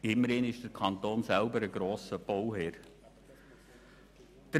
Immerhin ist der Kanton ein grosser Bauherr.